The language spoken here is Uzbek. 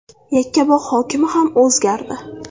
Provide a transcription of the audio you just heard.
Yakkabog‘ hokimi ham o‘zgardi.